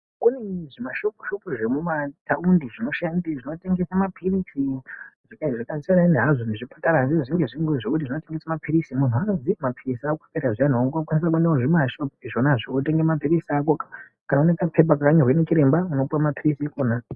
Kune zvimashopu shopu zvemuma taundi zvinoshandi zvinotengesa mapilizi zvakasiyana hazvo nezvipatara asi zvinge zvingori zvekuti zvinotengesa mapilizi. Muntu anobhiirwa kuti mapirizi akupera zviyani ongokwanisa kuende kuzvimashopu zvonazvo wote gese mapirizi ako kana une kapepa kakanyorwa ndichiremba unopuwe mapirizi ikwona.